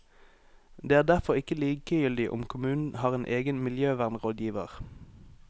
Det er derfor ikke likegyldig om kommunen har en egen miljøvernrådgiver.